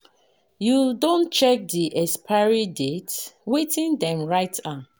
You don check de expiry date, wetin them write am?